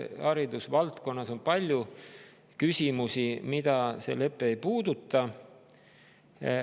Haridusvaldkonnas on palju küsimusi, mida see lepe ei puuduta.